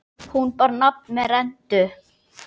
Hún bar nafn með rentu.